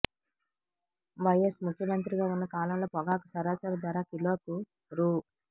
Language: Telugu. వైఎస్ ముఖ్యమంత్రిగా ఉన్న కాలంలో పొగాకు సరాసరి ధర కిలోకు రూ